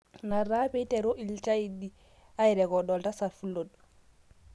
Ina taa peiteru ilchaidini airecord Oltasat Fulod